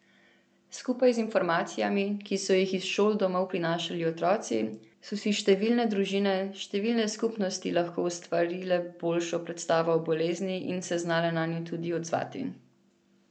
Skupaj z informacijami, ki so jih iz šol domov prinašali otroci, so si številne družine, številne skupnosti lahko ustvarile boljšo predstavo o bolezni in se znale nanjo tudi odzvati.